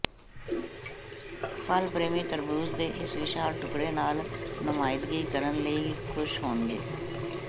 ਫਲ ਪ੍ਰੇਮੀ ਤਰਬੂਜ ਦੇ ਇਸ ਵਿਸ਼ਾਲ ਟੁਕੜੇ ਨਾਲ ਨੁਮਾਇੰਦਗੀ ਕਰਨ ਲਈ ਖੁਸ਼ ਹੋਣਗੇ